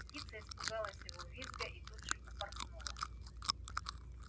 птица испугалась его визга и тут же упорхнула